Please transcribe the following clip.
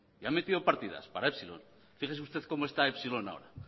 y han metido partidas para epsilon fíjese usted cómo está epsilon ahora